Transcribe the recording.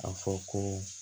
A fɔ ko